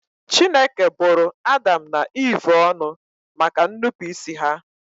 Chineke bụrụ Adam na Eve ọnụ maka ñụpụịsị ha